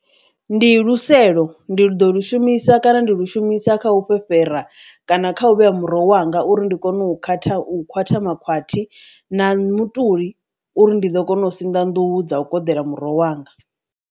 Ndi luselo ndi ḽi ḓo lu shumisa kana ndi lu shumisa kha u fhefhera kana kha u vhea muroho wanga uri ndi kone u khwaṱha u khwatha makhwati, na mutuli uri ndi ḓo kona u sinḓa nḓuhu dza u koḓela muroho wanga.